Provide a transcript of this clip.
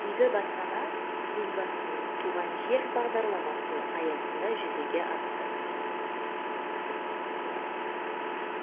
игі бастама елбасының туған жер бағдарламасы аясында жүзеге асты